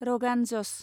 रगान जस